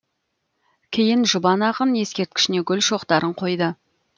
кейін жұбан ақын ескерткішіне гүл шоқтарын қойды